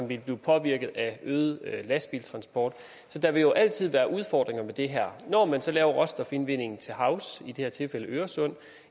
ville blive påvirket af en øget lastbiltransport så der vil jo altid være udfordringer ved det her når man så laver råstofindvinding til havs i det her tilfælde i øresund